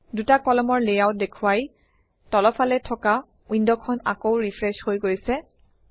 দুটা কলমৰ লেআউট দেখুৱাই তলফালে থকা উইণ্ডখন আকৌ ৰিফ্ৰেছ হৈ গৈছে